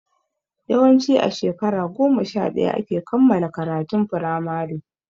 Yawanci a shekara goma sha ɗaya ake kammala karatun firamare